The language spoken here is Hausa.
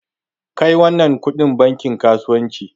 Kai wannan kudin bankin kasuwanci!